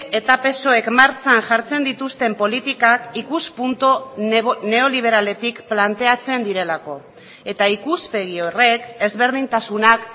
eta psoek martxan jartzen dituzten politikak ikuspuntu neoliberaletik planteatzen direlako eta ikuspegi horrek ezberdintasunak